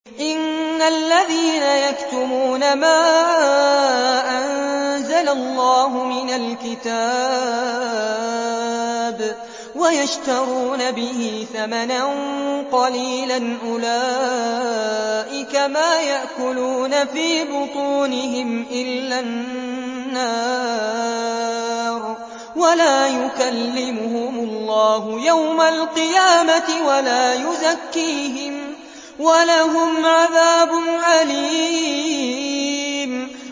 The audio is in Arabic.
إِنَّ الَّذِينَ يَكْتُمُونَ مَا أَنزَلَ اللَّهُ مِنَ الْكِتَابِ وَيَشْتَرُونَ بِهِ ثَمَنًا قَلِيلًا ۙ أُولَٰئِكَ مَا يَأْكُلُونَ فِي بُطُونِهِمْ إِلَّا النَّارَ وَلَا يُكَلِّمُهُمُ اللَّهُ يَوْمَ الْقِيَامَةِ وَلَا يُزَكِّيهِمْ وَلَهُمْ عَذَابٌ أَلِيمٌ